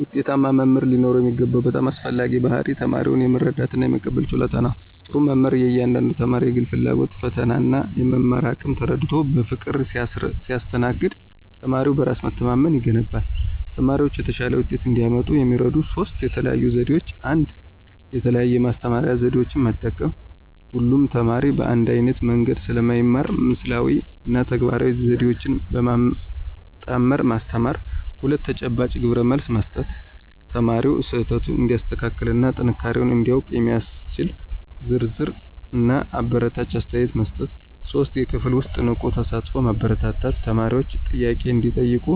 ውጤታማ መምህር ሊኖረው የሚገባው በጣም አስፈላጊው ባሕርይ ተማሪውን የመረዳትና የመቀበል ችሎታ ነው። ጥሩ መምህር የእያንዳንዱን ተማሪ የግል ፍላጎት፣ ፈተናና የመማር አቅም ተረድቶ በፍቅር ሲያስተናግድ ተማሪው በራስ መተማመን ይገነባል። ተማሪዎች የተሻለ ውጤት እንዲያመጡ የሚረዱ ሦስት የተለዩ ዘዴዎች፦ 1. የተለያየ የማስተማሪያ ዘዴ መጠቀም: ሁሉም ተማሪ በአንድ ዓይነት መንገድ ስለማይማር ምስላዊ እና ተግባራዊ ዘዴዎችን በማጣመር ማስተማር። 2. ተጨባጭ ግብረመልስ መስጠት: ተማሪው ስህተቱን እንዲያስተካክልና ጥንካሬውን እንዲያውቅ የሚያስችል ዝርዝርና አበረታች አስተያየት መስጠት። 3. የክፍል ውስጥ ንቁ ተሳትፎን ማበረታታት: ተማሪዎች ጥያቄ እንዲጠይቁ፣